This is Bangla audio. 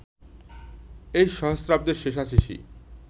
এই সহস্রাব্দের শেষাশেষি